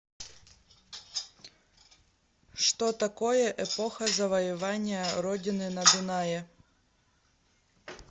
что такое эпоха завоевания родины на дунае